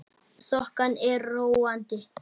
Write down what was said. Þokan er róandi